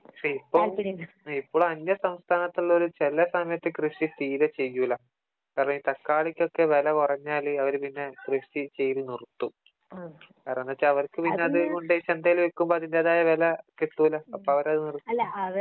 പക്ഷേ ഇപ്പോ ഇപ്പള് അന്യ സംസ്ഥാനത്തുള്ളവര് ചില സമയത്ത് കൃഷി തീരെ ചെയ്യൂല കാരണം തക്കാളി ക്കൊക്കെ വില കുറഞ്ഞാല് അവര് പിന്നെ കൃഷി ചെയ്യല് നിർത്തും കാരണം എന്താണ് വച്ചാ അവർക്കു പിന്നെ അത് കൊണ്ടുപോയി ചന്തയില് വിക്കുമ്പോ അതിന്റേതായ വില കിട്ടൂല അപ്പം അവരത് നിർത്തും